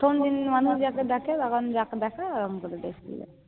প্রথমদিন মানুষ যখন যাকে দেখে ওরম বলে দেয়